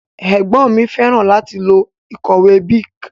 Ègbón mi féràn láti lo ìkòwé Bic